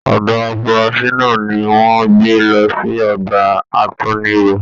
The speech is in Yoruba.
Ọdọ afurasi náà ní wọn gbé lọ sí ọgbà àtúnirọ.